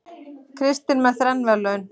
Kristinn með þrenn verðlaun